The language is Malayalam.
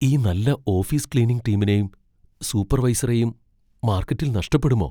ഈ നല്ല ഓഫീസ് ക്ലീനിംഗ് ടീമിനെയും സൂപ്പർവൈസറെയും മാർക്കറ്റിൽ നഷ്ടപ്പെടുമോ?